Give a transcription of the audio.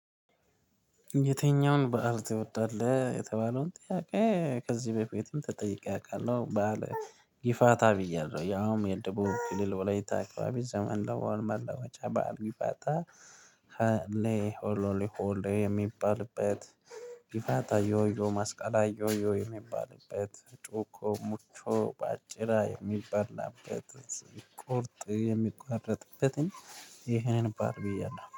የተኛውን ባህር ትወዳለህ? የተባለውን ጥያቄ ከዚህ በፊትም ተጠይቄ አውቃለሁ ባህል ጊፋታ ብያለሁ ያውም የደቡብ ክልል ወላይታ አካባቢ ዘመን ለወል መለወጫ በዓል ጊፋታ ይባላል ለሆሎሌ ሆሎ የሚባልበት ጊፋታ ዮዮ ማስቀላይ ዮዮ የሚባልበት ጮኮ ሙቾ በአጭራ የሚበላበት ቁርጥ የሚቋረጥበትን ይህንን ባህል ብያለሁ